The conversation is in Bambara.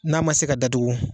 N'a ma se ka datugu